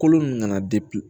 Kolo ninnu nana